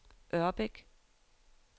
Ørbæk